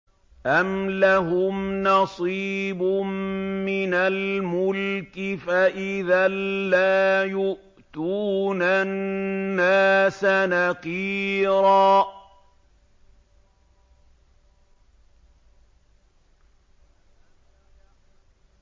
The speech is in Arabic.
أَمْ لَهُمْ نَصِيبٌ مِّنَ الْمُلْكِ فَإِذًا لَّا يُؤْتُونَ النَّاسَ نَقِيرًا